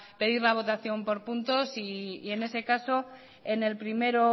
pedir la votación por puntos y en ese caso en el primero